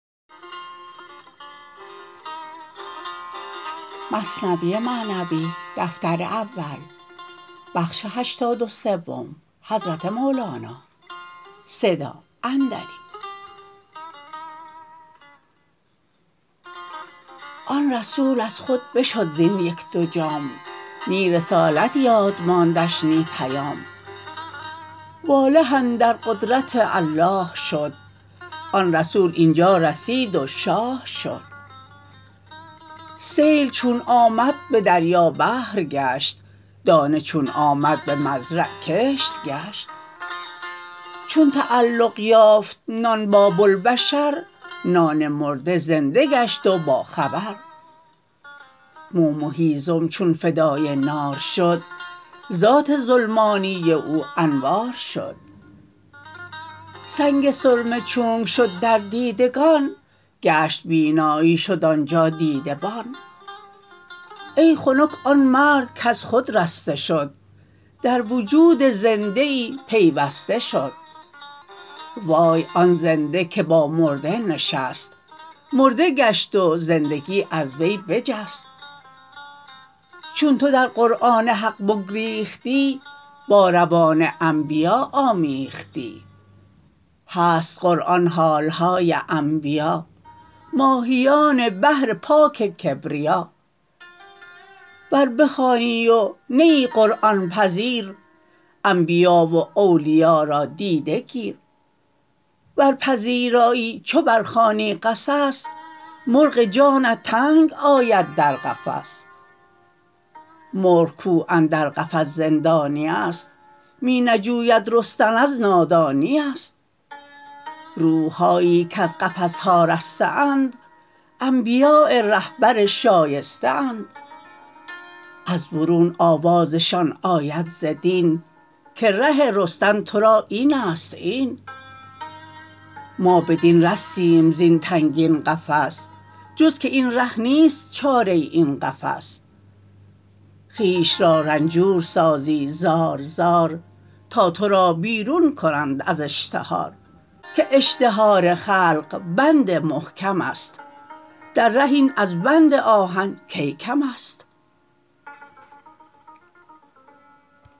آن رسول از خود بشد زین یک دو جام نی رسالت یاد ماندش نی پیام واله اندر قدرت الله شد آن رسول اینجا رسید و شاه شد سیل چون آمد به دریا بحر گشت دانه چون آمد به مزرع صحو گشت چون تعلق یافت نان با بوالبشر نان مرده زنده گشت و با خبر موم و هیزم چون فدای نار شد ذات ظلمانی او انوار شد سنگ سرمه چونک شد در دیدگان گشت بینایی شد آنجا دیدبان ای خنک آن مرد کز خود رسته شد در وجود زنده ای پیوسته شد وای آن زنده که با مرده نشست مرده گشت و زندگی از وی بجست چون تو در قرآن حق بگریختی با روان انبیا آمیختی هست قرآن حالهای انبیا ماهیان بحر پاک کبریا ور بخوانی و نه ای قرآن پذیر انبیا و اولیا را دیده گیر ور پذیرایی چو بر خوانی قصص مرغ جانت تنگ آید در قفس مرغ کو اندر قفس زندانیست می نجوید رستن از نادانیست روحهایی کز قفسها رسته اند انبیاء رهبر شایسته اند از برون آوازشان آید ز دین که ره رستن ترا اینست این ما بدین رستیم زین تنگین قفس جز که این ره نیست چاره این قفس خویش را رنجور سازی زار زار تا ترا بیرون کنند از اشتهار که اشتهار خلق بند محکمست در ره این از بند آهن کی کمست